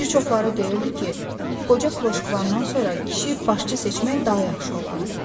Bir çoxları deyirdi ki, qoca kloşkvandan sonra kişinin başçı seçmək daha yaxşı olardı.